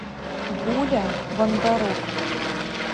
гуля бондарук